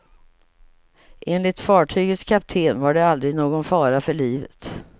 Enligt fartygets kapten var det aldrig någon fara för livet.